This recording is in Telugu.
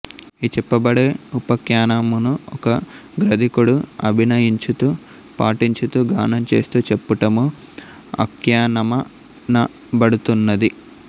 ఈచెప్పబడే ఉపాఖ్యానమును ఒక గ్రధికుడు అభినయించుతూ పఠించుతూ గానం చేస్తూ చెప్పుటము ఆఖ్యానమనబడుతున్నది